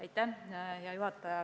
Aitäh, hea juhataja!